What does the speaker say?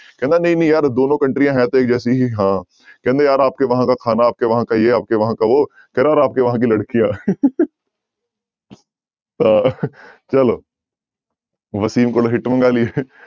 ਕਹਿੰਦਾ ਨਹੀਂ ਨਹੀਂ ਯਾਰ ਦੋਨੋਂ ਕੰਟਰੀਆਂ ਹੈ ਤਾਂ ਇੱਕ ਜੈਸੀ ਹੀ ਹਾਂ ਕਹਿੰਦੇ ਯਾਰ ਆਪਕੇ ਵਹਾਂ ਕਾ ਖਾਨਾ, ਆਪਕੇ ਵਹਾਂ ਕਾ ਯੇਹ ਆਪਕੇ, ਵਹਾਂ ਕਾ ਵੋਹ ਕਹਿੰਦਾ ਔਰ ਆਪਕੇ ਵਹਾਂ ਕੀ ਲੜਕੀਆਂ ਹਾਂ ਚਲੋ ਵਸੀਮ ਕੋਲੋਂ ਹਿਟ ਮੰਗਾ ਲਈਏ